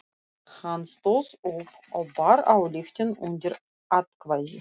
Hann stóð upp og bar ályktun undir atkvæði.